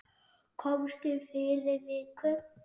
Komstu fyrir viku?